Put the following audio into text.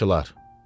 Qaraçılar.